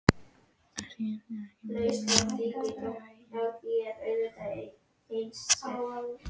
Skipti ekki meira máli hér, að vextir fasteignaveðlána voru verðtryggðir?